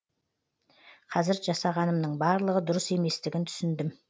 қазір жасағанымның барлығы дұрыс еместігін түсіндім